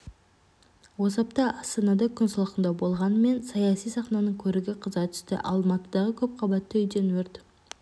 осы апта астанада күн салқындау болғанымен саяси сахнаның көрігі қыза түсті алматыдағы көп қабатты үйден өрт